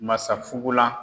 Masa fugulan